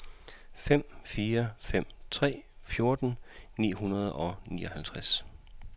fem fire fem tre fjorten ni hundrede og nioghalvfjerds